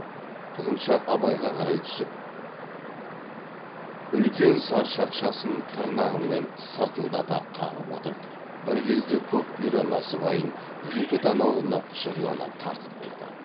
құлыншақ абайға қарай түсіп үлкен сар шақшасын тырнағымен сыртылдата қағып отырып бір кезде көк бұйра насыбайын екі танауына құшырлана тартып қойды